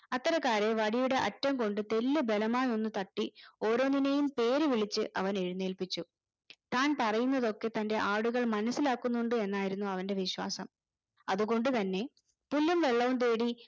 അത്തരക്കാരെ വടിയുടെ അറ്റം കൊണ്ട് തെല്ല് ബലമായി ഒന്ന് തട്ടി ഓരോന്നിനെയും പേരുവിളിച്ച് അവൻ എഴുന്നേൽപ്പിച്ചു താൻ പറയുന്നതൊക്കെ തന്റെ ആടുകൾ മനസ്സിലാക്കുന്നുണ്ട് എന്നായിരുന്നു അവന്റെ വിശ്വാസം അതുകൊണ്ട് തന്നെ പുല്ലും വെള്ളവും തേടി